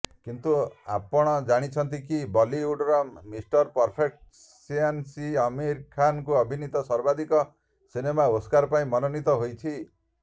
କିନ୍ତୁ ଆପଣ ଜାଣନ୍ତିକି ବଲିଉଡର ମିଷ୍ଟର ପରଫେକସନିଷ୍ଟଅମୀର୍ ଖାନ୍ଙ୍କ ଅଭିନୀତ ସର୍ବାଧିକ ସିନେମା ଓସ୍କାର ପାଇଁ ମନୋନୀତ ହୋଇଛି